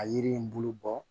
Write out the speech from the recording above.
A yiri in bulu bɔ